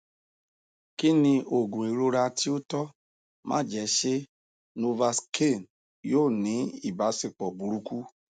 kí ni òògùn ìrora tí ó tọ máa jẹ ṣé novocain yóò ní ìbáṣepọ burúkú